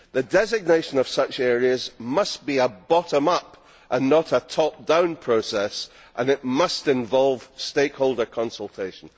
The designation of such areas must be a bottom up and not a top down process, and it must involve stakeholder consultation.